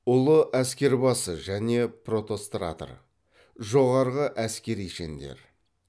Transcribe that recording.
ұлы әскербасы және протостратор жоғарғы әскери шендер